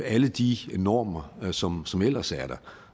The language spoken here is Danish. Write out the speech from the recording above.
alle de normer som som ellers er der